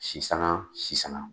Sisanan sisanan.